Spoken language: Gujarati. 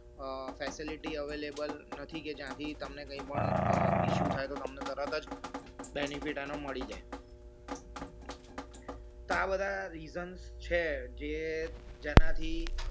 facility available નથી કે જ્યાંથી તમને કંઈ પણ issue થાય તો તમને તરત જ benefit એનો મળી જાય તો આ બધા reasons છે જે જેનાથી